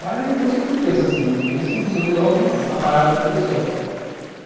Mas na infância a gente não pensa assim, a gente pensa em resolver logo a parada de uma vez só.